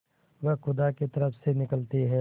वह खुदा की तरफ से निकलती है